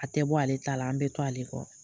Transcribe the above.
A tɛ bɔ ale ta la, an bɛ to ale kɔ.